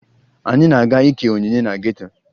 Anyị na-aga ike onyinye na geto